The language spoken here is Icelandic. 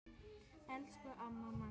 Elsku amma Magga.